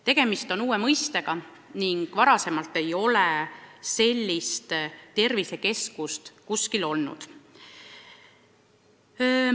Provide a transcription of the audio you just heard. Tegemist on uue mõistega, varem ei ole selliseid tervisekeskusi olnud.